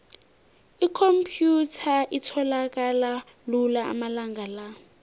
ikhomphyutha itholakala lula amalanga la